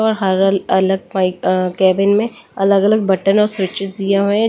और हर अलग कैबिन में अलग-अलग बटन और स्विचेस दिए हुए हैं।